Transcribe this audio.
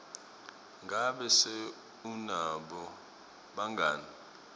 ngabe se unabo bangani